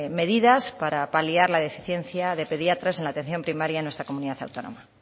medidas para paliar la deficiencia de pediatras en la atención primaria en nuestra comunidad autónoma